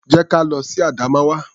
Jẹ́ ka lọ sí Adamawa.